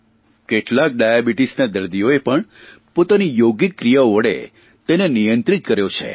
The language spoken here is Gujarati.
કેટલાક ડાયાબીટીસના દર્દીઓએ પણ પોતાની યોગિક ક્રિયાઓ વડે તેને નિયંત્રિત કર્યો છે